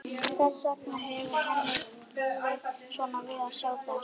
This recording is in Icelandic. Þess vegna hefur henni brugðið svona við að sjá þær.